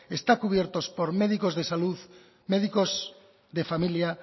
están cubiertos por médicos de salud médicos de familia